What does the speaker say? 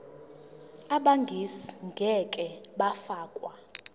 abegcis ngeke bafakwa